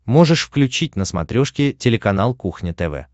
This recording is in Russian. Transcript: можешь включить на смотрешке телеканал кухня тв